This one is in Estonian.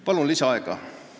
Palun lisaaega!